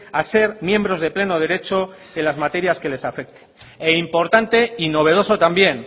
a ser miembros de pleno derecho en las materias que les afecte e importante y novedoso también